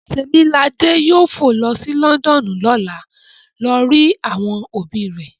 Temilade yoo fo lo si Lọndọnu lọla lati lo ri awọn obi rẹ